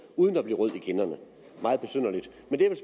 uden at blive rød i kinderne